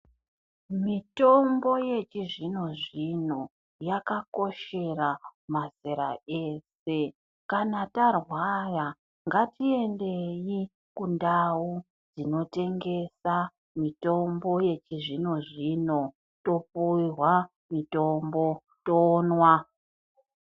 Mitombo yechizvino-zvino yakakoshera mazera ese. Kana tarwara ngatiendei kundau dzinotengesa mitombo yechizvino-zvino, topuhwa mitombo, tonwa.